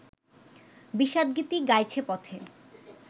বিষাদগীতি গাইছে পথে